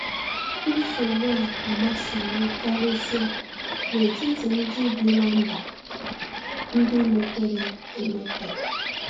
Nsogbu a agbasawo karịsịa n’etiti ndị bi na mba ndị mepere emepe.